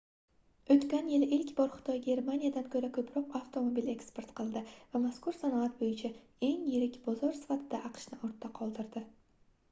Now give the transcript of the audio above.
oʻtgan yili ilk bor xitoy germaniyadan koʻra koʻproq avtomobil eksport qildi va mazkur sanoat boʻyicha eng yirik bozor sifatida aqshni ortda qoldirdi